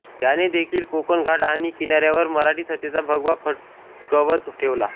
याने देखील कोकण घाट आणि किनाऱ्यावर मराठी सत्तेचा भगवा फडकवत ठेवला